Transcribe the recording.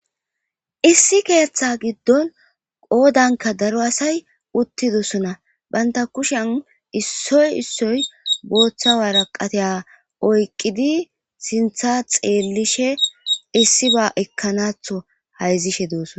Issi ketha gidon qodabka daro asayi utidosona banta kushiyan isoyi isoyi botha woraqata oyiqidi sintha xelishe issiba ekanaton hayizishe de, osona